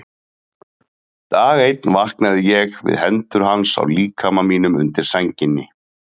Dag einn vaknaði ég við hendur hans á líkama mínum undir sænginni.